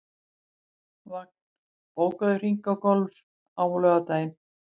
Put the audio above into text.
Vagn, bókaðu hring í golf á laugardaginn.